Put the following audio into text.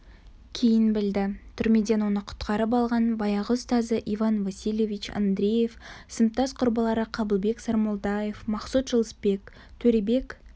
кейін білді түрмеден оны құтқарып алған баяғы ұстазы иван васильевич андреев сыныптас құрбылары қабылбек сармолдаев мақсұт жылысбек төребек